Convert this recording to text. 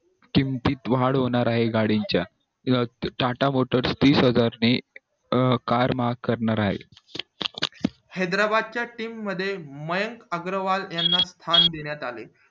किमतीत वाढ होणार आहे गाडीच्या किव्हा ने tata motors वीस हजार ने अं car महाग करणार आहेत हैद्राबाद च्या team मध्ये मयंग अग्रवाल याना स्थान देण्यात आले